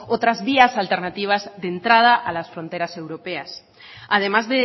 otras vías alternativas de entrada a las fronteras europeas además